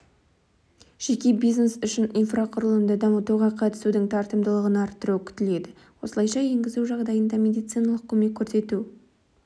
жеке бизнес үшін инфрақұрылымды дамытуға қатысудың тартымдылығын арттыру күтіледі осылайша енгізу жағдайында медициналық көмек көрсету